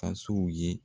Tasow ye